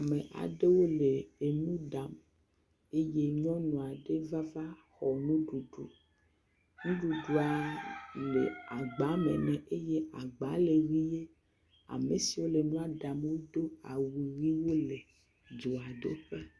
Ame aɖewo le enu ɖam eye nyɔnu ɖe va, vaxɔ nuɖuɖu. Nuɖuɖuaaa le agbame nɛ eye agbaa le ʋie. Ame siwo le nua ɖam do aw ʋee hele dzoa doƒe.